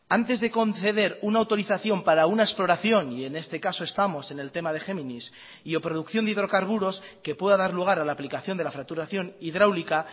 antes de conceder una autorización para una exploración y en este caso estamos en el tema de géminis y o producción de hidrocarburos que pueda dar lugar a la aplicación de la fracturación hidráulica